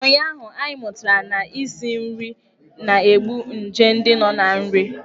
Ụnyụahụ, anyị mụtara na isi nri na-egbu nje ndị nọ na nri.